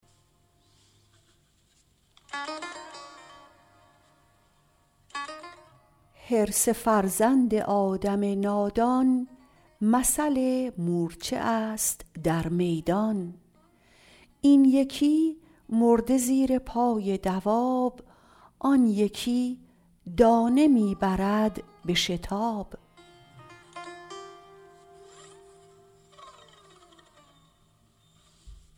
حرص فرزند آدم نادان مثل مورچه است در میدان این یکی مرده زیر پای دواب آن یکی دانه می برد به شتاب